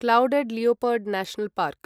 clouded leopard national park